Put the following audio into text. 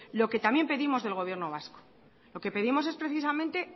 lo que también pedimos del gobierno vasco lo que pedimos es precisamente es